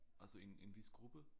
Altså en en vis gruppe